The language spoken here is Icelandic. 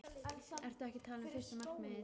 Ertu ekki að tala um fyrsta markið?